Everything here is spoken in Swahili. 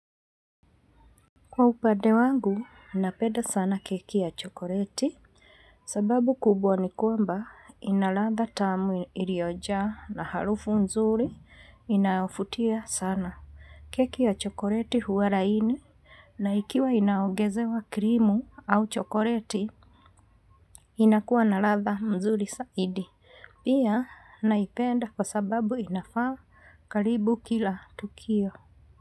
Kwa upande wangu, napenda sana keki ya chokoreti, sababu kubwa ni kwamba ina ladha tamu iliojaa na harufu mzuri inavutia sana. Keki ya chokoreti huwa laini, na ikiwa inaongezewa krimu au chokoreti, inakuwa na ladha mzuri zaidi. Pia, naipenda kwa sababu inafaa karibu kila tukio.